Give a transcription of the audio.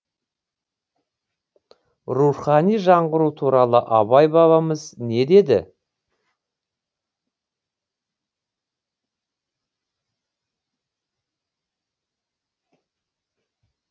рухани жаңғыру туралы абай бабамыз не деді